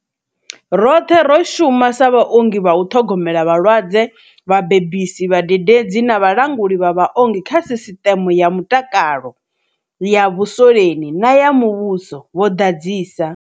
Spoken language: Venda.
Roṱhe ro shuma sa vhaongi vha u ṱhogomela vhalwadze, vhabebisi, vhadededzi na vhalanguli vha vhaongi kha sisiṱeme ya mutakalo ya vhuswoleni na ya muvhuso, vho ḓadzisa.